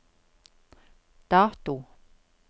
dato